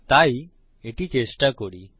তাই এটি চেষ্টা করি